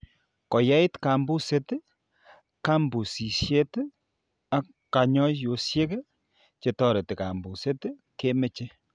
Ko yait kambuset, kambusishet ak kanyoisoshek che toreti kambuset ke meche .